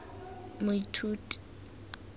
moithuti